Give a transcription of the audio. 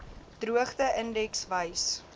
droogte indeks wys